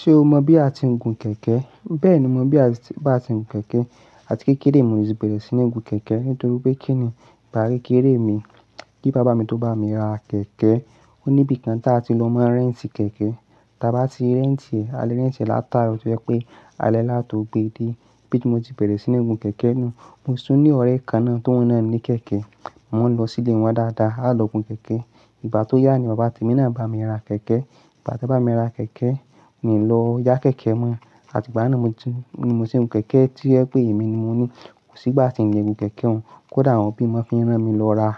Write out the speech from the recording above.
Ṣé o mọ bí a ti ń gun kẹ̀kẹ́? Bẹ́ẹ̀ni, mo mọ bí a bá ti ń gun kẹ̀kẹ́. A ti kékeré mo ti bẹ̀rẹ̀ sí ní gun kẹ̀kẹ́ nítorí pé kí ni ìgbà kékeré mi tí bàbá mi tó bá mi ra kẹ̀kẹ́. Ó níbi kan tí a ti lọ máa rent kẹ̀kẹ́, tí a bá ti rent ẹ̀, a lè rent e láti aaro, to jẹ́ pé ale láto gbe dé. Ibí ti mo ti bẹ̀rẹ̀ sí ní gun kẹ̀kẹ́ náà, mo sun ile ọ̀rẹ́ kan náà tó oun naa ni kẹ̀kẹ́, mo maa ń lọ sí ilé wọn dáadáa, a lọ gun kẹ̀kẹ́. Ìgbà tó yá ni bàbá temí náà bá mi ra kẹ̀kẹ́. Ìgbà tí o bá mi ra kẹ̀kẹ́, mo lọ yá kẹ̀kẹ́ mo àti ìgbà náà ni mo ti ń gun kẹ̀kẹ́ to jẹ pé èmi ni mo ní. Ko sì gba ti ń le gun kẹ̀kẹ́ oun, kódà awọ́n obi mi maa n fi rán mi lọ ra